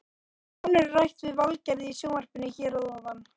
Nánar er rætt við Valgerði í sjónvarpinu hér að ofan.